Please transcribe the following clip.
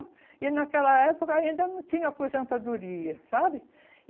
E naquela época ainda não tinha aposentadoria, sabe?